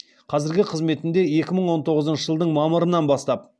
қазіргі қызметінде екі мың он тоғызыншы жылдың мамырынан бастап